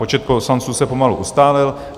Počet poslanců se pomalu ustálil.